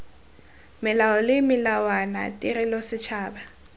melao le melawana tirelo setšhaba